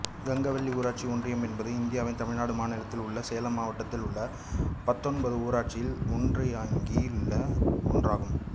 கங்கவள்ளி ஊராட்சி ஒன்றியம் என்பது இந்தியாவின் தமிழ்நாடு மாநிலத்தில் உள்ள சேலம் மாவட்டத்தில் உள்ள பத்தொன்பது ஊராட்சி ஒன்றியங்களில் ஒன்றாகும்